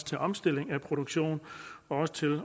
til at omstille produktionen og til